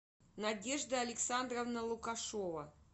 надежда александровна лукашова